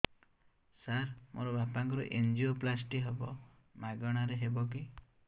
ସାର ମୋର ବାପାଙ୍କର ଏନଜିଓପ୍ଳାସଟି ହେବ ମାଗଣା ରେ ହେବ କି